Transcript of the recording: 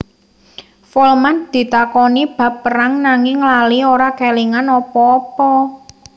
Folman ditakoni bab perang nanging lali ora kélingan apa apa